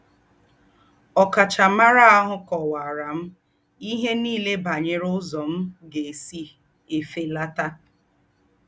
Ọ̀káchámárà àhù kọ́waárà m íhé nílé bànyèrè úzọ́ m̀ gà-ésí èfélátà.